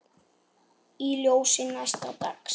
Í ljósi næsta dags